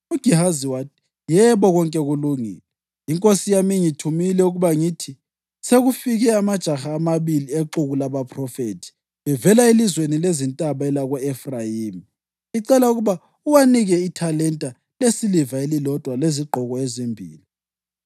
UGehazi wathi, “Yebo, konke kulungile. Inkosi yami ingithumile ukuba ngithi, ‘Sekufike amajaha amabili exuku labaphrofethi bevela elizweni lezintaba elako-Efrayimi, icela ukuba uwanike ithalenta lesiliva elilodwa lezigqoko ezimbili.’ ”